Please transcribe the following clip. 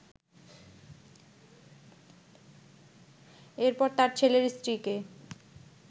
এরপর তার ছেলের স্ত্রীকে